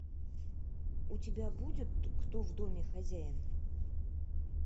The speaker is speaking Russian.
у тебя будет кто в доме хозяин